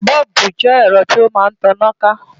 Bọ́ọ̀bù jẹ́ ẹ̀rọ tí ó máa ń taná ká